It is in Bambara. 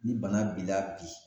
Ni bana b'i la bi